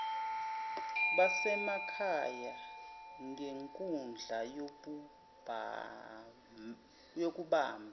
basemakhaya ngenkundla yokubamba